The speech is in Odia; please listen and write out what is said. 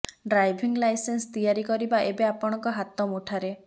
ଡ୍ରାଇଭିଂ ଲାଇସେନ୍ସ ତିଆରି କରିବା ଏବେ ଆପଣଙ୍କ ହାତ ମୁଠାରେ